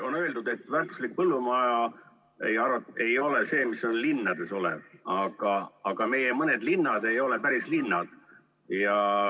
On öeldud, et väärtuslik põllumaa ei ole see, mis on linnades, aga meie mõni linn ei ole päris linn.